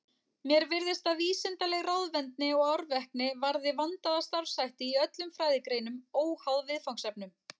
Mér virðist að vísindaleg ráðvendni og árvekni varði vandaða starfshætti í öllum fræðigreinum, óháð viðfangsefnum.